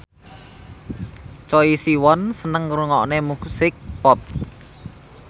Choi Siwon seneng ngrungokne musik pop